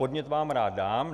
Podnět vám rád dám.